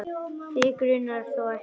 Þig grunar þó ekki?.